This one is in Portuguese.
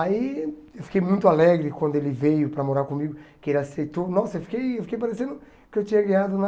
Aí eu fiquei muito alegre quando ele veio para morar comigo, que ele aceitou, nossa, eu fiquei eu fiquei parecendo que eu tinha ganhado na...